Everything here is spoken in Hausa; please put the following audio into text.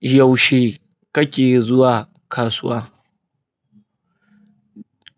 Yaushe kake zuwa kasuwa?